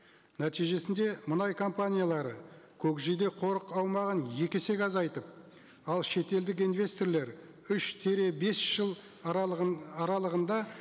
нәтижесінде мұнай компаниялары көкжиде қорық аумағын екі есеге азайтып ал шетелдік инвесторлар үш тире бес жыл аралығында